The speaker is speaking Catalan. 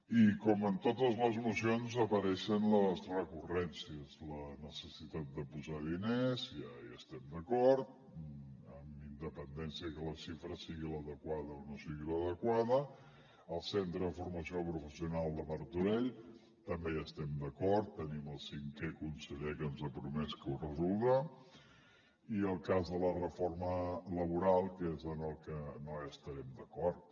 i com en totes les mocions apareixen les recurrències la necessitat de posar diners ja hi estem d’acord amb independència que la xifra sigui l’adequada o no sigui l’adequada el centre de formació professional de martorell també hi estem d’acord tenim el cinquè conseller que ens ha promès que ho resoldrà i el cas de la reforma laboral que és en el que no hi estarem d’acord